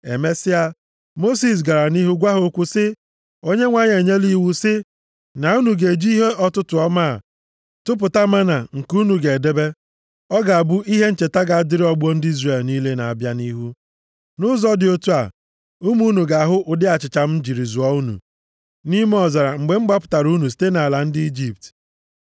Emesịa, Mosis gara nʼihu gwa ha okwu sị, “ Onyenwe anyị enyela iwu sị, ‘Na unu ga-eji ihe ọtụtụ ọmaa tụpụta mánà nke unu ga-edebe. Ọ ga-abụ ihe ncheta ga-adịrị ọgbọ ndị Izrel niile na-abịa nʼihu. Nʼụzọ dị otu a, ụmụ unu ga-ahụ ụdị achịcha m jiri zụọ unu nʼime ọzara mgbe m gbapụtara unu site nʼala ndị Ijipt.’ ”